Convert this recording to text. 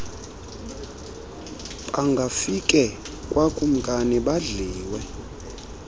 bangafike kwakumkani badliwe